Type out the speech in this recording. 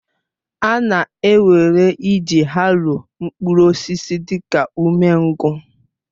A na-ewere iji haroo mkpụrụ osisi dị ka umengwụ